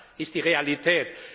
Das ist die Realität.